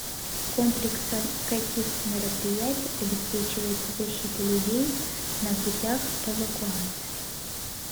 комплексом каких мероприятий обеспечивается защита людей на путях эвакуации